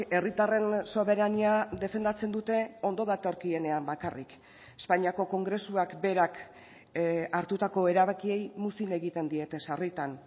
herritarren soberania defendatzen dute ondo datorkienean bakarrik espainiako kongresuak berak hartutako erabakiei muzin egiten diete sarritan